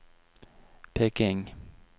Peking